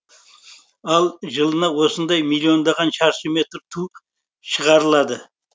ал жылына осындай миллиондаған шаршы метр ту шығарылады